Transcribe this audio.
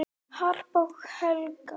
Harpa og Helga.